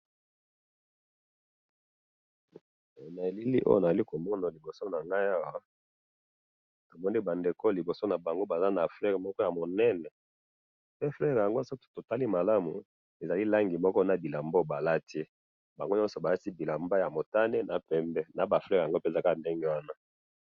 na elili oyo na zali komona liboso na ngai awa, namoni ba ndeko liboso na bango baza na fleur moko ya monene, pe fleur yango soki totali malamu ezali langi moko na bilamba oyo ba lati, bango nyoso ba lati bilamba ya motane na pembe, na ba fleurs yango pe eza kaka ndenge wana